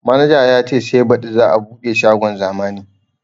Manaja ya ce sai baɗi za a buɗe shagon zamani